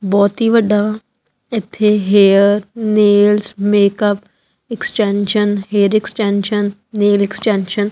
ਬਹੁਤ ਹੀ ਵੱਡਾ ਇਥੇ hair nails makeup extension hair extension nail extension --